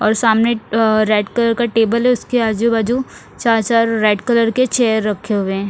और सामने अ रेड कलर का टेबल है उसके आजू बाजू चार चार रेड कलर के चेयर रखे हुए है।